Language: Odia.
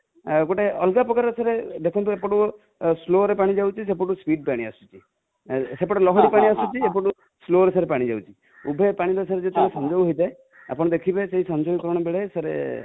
ଗୋଟେ ଅଲଗା ପ୍ରକାର ସାର ଦେଖନ୍ତୁ ଏପଟୁ slow ରେ ପାଣି ଯାଉଛି ସେପଟୁ speed ପାଣି ଆସୁଛି|ସେପଟୁ ଲହରୀ ପାଣି ଆସୁଛି ଏପଟୁ slow ରେ ପାଣି ଯାଉଛି, ଉଭୟ ପାଣିର sir ଯେତେବେଳେ ସଂଯୋଗ ହେଇଥାଏ ଆପଣ ଦେଖିବେ ସଂଯୋଗୀକରଣ ବେଳେ sir